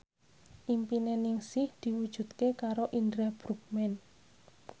impine Ningsih diwujudke karo Indra Bruggman